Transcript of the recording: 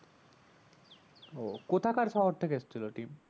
ও কোথাকার শহর থেকে এসেছিলো team